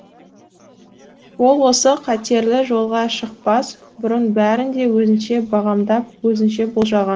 ол осы қатерлі жолға шықпас бұрын бәрін де өзінше бағамдап өзінше болжаған